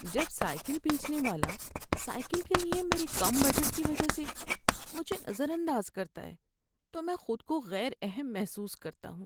جب سائیکل بیچنے والا سائیکل کے لیے میرے کم بجٹ کی وجہ سے مجھے نظر انداز کرتا ہے تو میں خود کو غیر اہم محسوس کرتا ہوں۔